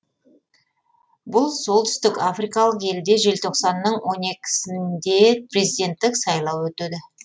бұл солтүстік африкалық елде желтоқсанның он екісін де президенттік сайлау өтеді